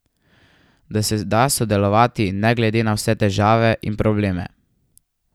Da se da sodelovati ne glede na vse težave in probleme.